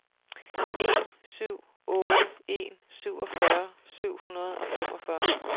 en syv otte en syvogfyrre syv hundrede og femogfyrre